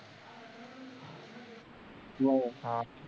हम्म